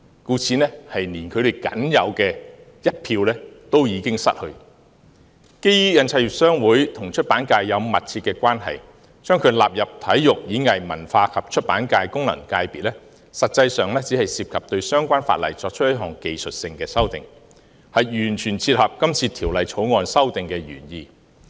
故此，他們連僅有的一票已經失去。基於印刷業商會和出版界有密切的關係，將其納入體育、演藝、文化及出版界功能界別，實際上只涉及對相關法例作出一項技術性修訂，完全切合今次《條例草案》的修訂原意。